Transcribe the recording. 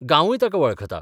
गांवूय ताका वळखता.